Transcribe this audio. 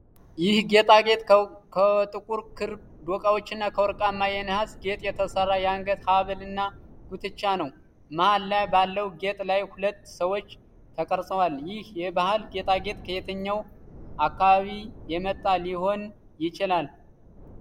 ይህ ጌጣጌጥ ከጥቁር ክር ዶቃዎችና ከወርቃማ የነሐስ ጌጥ የተሠራ የአንገት ሐብልና ጉትቻ ነው። መሃል ላይ ባለው ጌጥ ላይ ሁለት ሰዎች ተቀርጸዋል። ይህ የባህል ጌጣጌጥ ከየትኛው አካባቢ የመጣ ሊሆን ይችላል?